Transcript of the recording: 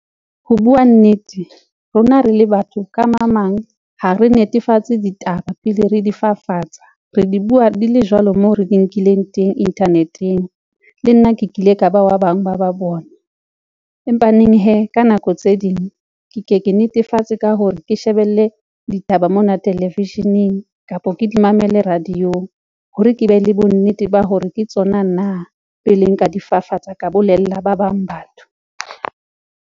Ho bua nnete, rona re le batho ka mang mang ha re netefatse ditaba pele re di fafatsa, re di bua di le jwalo moo re di nkileng teng internet-eng. Le nna ke kile ka wa bang ba ba bona empaneng hee, ka nako tse ding ke ke ke netefatse ka hore ke shebelle ditaba mona, television-eng kapa ke di mamele radio-ong hore ke be le bonnete ba hore ke tsona na pele nka di fafatsa, ka bolella ba bang batho.